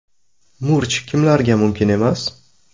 Murch kimlarga mumkin emas?